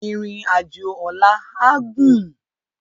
Irin ájó òlà á gún